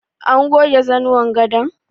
An goge zanuwan gadon?